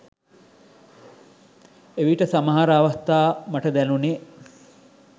එවිට සමහර අවස්ථා මට දැනුණෙ